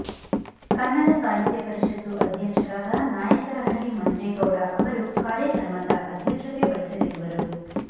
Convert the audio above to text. ಕನ್ನಡ ಸಾಹಿತ್ಯ ಪರಿಷತ್ತು ಅಧ್ಯಕ್ಷರಾದ ನಾಯಕರಹಳ್ಳಿ ಮಂಜೇಗೌಡ ಅವರು ಕಾರ್ಯಕ್ರಮದ ಅಧ್ಯಕ್ಷತೆ ವಹಿಸಲಿರುವರು